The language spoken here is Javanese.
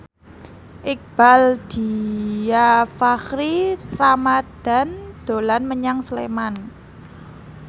Iqbaal Dhiafakhri Ramadhan dolan menyang Sleman